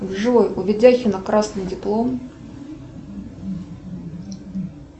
джой у видяхина красный диплом